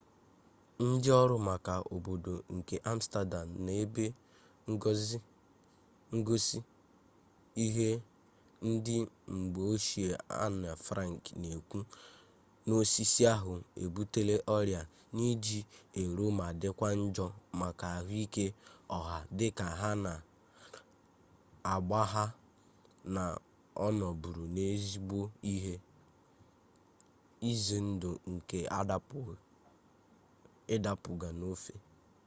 ndị ọrụ maka obodo nke amstardam na ebe ngosi ihe ndị mgbe ochie anne frank na-ekwu na osisi ahụ ebutela ọrịa n'iji ero ma dịkwa njọ makka ahụike ọha dịka ha na-agbagha na ọ nọbụrụ n'ezigbo ihe ize ndụ nke ịdapụga n'ofe